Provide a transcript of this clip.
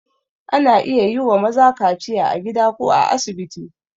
Ana iya yi wa maza kaciya a gida ko a asibiti.